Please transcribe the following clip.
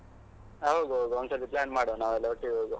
ಹಾ ಹೋಗ್ವ ಹೋಗ್ವ ಒಂದ್ ಸಲಿ plan ಮಾಡ್ವ, ನಾವೆಲ್ಲ ಒಟ್ಟಿಗೆ ಹೋಗುವ.